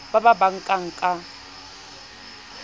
ba ba ba nkana ka